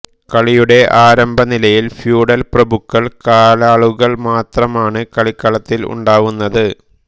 കളിയുടെ ആരംഭനിലയിൽ ഫ്യൂഡൽ പ്രഭുക്കൾ കാലാളുകൾ മാത്രമാണ് കളിക്കളത്തിൽ ഉണ്ടാവുന്നത്